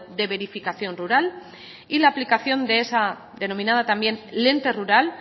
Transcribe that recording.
de verificación rural y la aplicación de esa denominada también lente rural